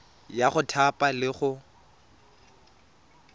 ya go thapa le go